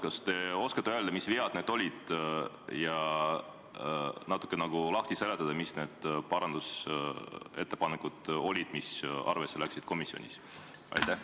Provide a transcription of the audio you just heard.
Kas te oskate öelda, mis vead need olid, ja natuke lahti seletada, mis need parandusettepanekud olid, mis komisjonis arvesse võeti?